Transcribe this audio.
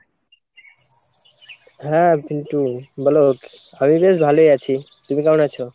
হ্যাঁ পিনটু বলো , আমি বেশ ভালোই আছি তুমি কেমন আছো?